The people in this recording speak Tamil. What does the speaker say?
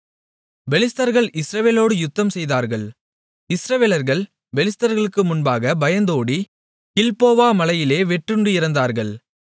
பெலிஸ்தர்கள் இஸ்ரவேலர்களோடு யுத்தம்செய்தார்கள் இஸ்ரவேலர்கள் பெலிஸ்தர்களுக்கு முன்பாக பயந்தோடி கில்போவா மலையிலே வெட்டுண்டு இறந்தார்கள்